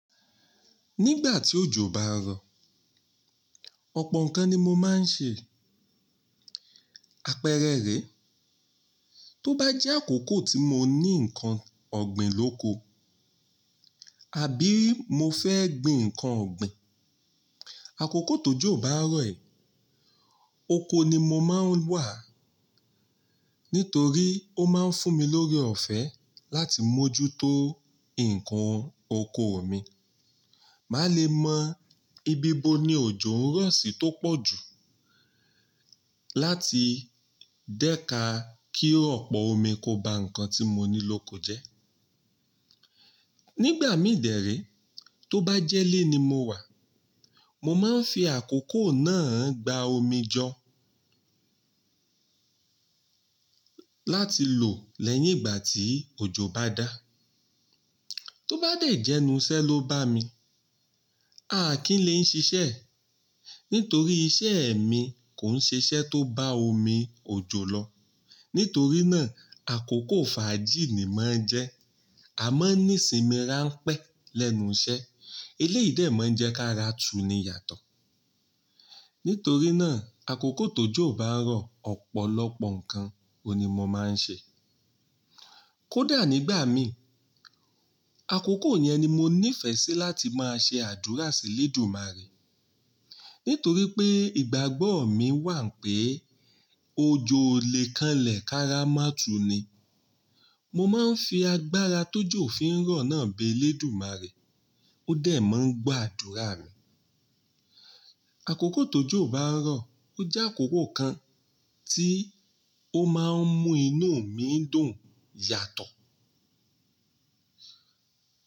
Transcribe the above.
Nígbà tí òjò bá ń rọ̀, ọ̀pọ̀ nǹkan ni mo máa ń ṣe. Apẹrẹ rẹ̀, tó bá jẹ́ àkókò tí mo ní nǹkan ọ̀gbìn lóko, àbí mo fẹ́ gbìn nǹkan ọ̀gbìn, àkókò tó jò bá ń rọ̀ ẹ, oko ni mo máa ń wà. Nítorí ó máa ń fún mi lórí ọ̀fẹ́ láti mójútó nǹkan oko mi. Má le mọ ibi bo ni òjò ń rọ̀ sí tó pọ̀ jù láti dẹ́ka kí ọ̀pọ̀ omi kó ba nǹkan tí mo ní lóko jẹ́. Nígbà mí dẹ̀érẹ́, tó bá jẹ́ lé ní mo wà, mo máa ń fi àkókò náà gba omi jọ láti lò lẹ́yìn ìgbà tí òjò bá dá. Tó bá dẹ̀ jẹ́ enuṣẹ́ ló bá mi, a kì í lè ń ṣiṣẹ́, nítorí iṣẹ́ èmi kò ń ṣiṣẹ́ tó bá omi òjò lọ. Nítorí náà, àkókò fàájì ni máa ń jẹ́, a máa ń ní sinmi ránpẹ́ lẹ́nu iṣẹ́. Eleyìí dẹ̀ máa ń jẹ́ ká ra tu ni yàtọ̀. Nítorí náà, àkókò tó jò bá ń rọ̀ ọ̀pọ̀lọpọ̀ nǹkan oun ni mo máa ń ṣe. Kódà nígbà mi, àkókò yẹn ni mo ní ìfẹ́ sí láti máa ṣe àdúrà sí ELédùmarè. Nítorí pé ìgbàgbọ́ mi wà pé òjò lè kanlẹ̀ ká ra má tu ni. Mo máa ń fi agbára tó jò fi ń rọ̀ náà bé Lédùmarè, ó dẹ̀ máa ń gbọ́ àdúrà mi. Àkókò tó jò bá ń rọ̀, ó jẹ́ àkókò kan tí ó máa ń mú inú mi dùn yàtọ̀.